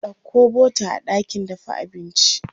Ɗauko bota a ɗakin dafa abinci.